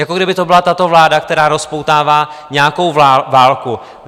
Jako kdyby to byla tato vláda, která rozpoutává nějakou válku.